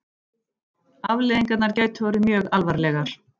Afleiðingarnar gætu orðið mjög alvarlegar